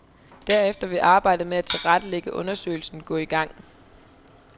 Derefter vil arbejdet med at tilrettelægge undersøgelsen gå i gang.